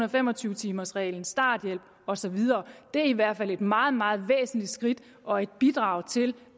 og fem og tyve timers reglen starthjælpen og så videre er i hvert fald et meget meget væsentligt skridt og et bidrag til